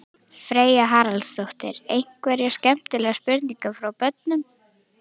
Freyja Haraldsdóttir: Einhverjar skemmtilegar spurningar frá börnum?